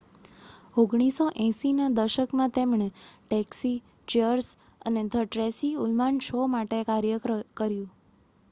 1980ના દશકમાં તેમણે Taxi Cheers અને ધ ટ્રેસી ઉલમાન શો માટે કાર્ય કર્યું